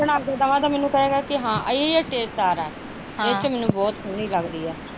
ਮੈਂ ਬਣਾ ਕੇ ਦੇਵਾ ਤਾਂ ਮੈਨੂੰ ਕਹੇਗਾ ਕਿ ਹਾਂ ਏਹ taste ਆ ਰਹਾਂ ਏਥੇ ਮੈਨੂੰ ਬਹੁਤ ਸੋਹਣੀ ਲੱਗਦੀ ਆ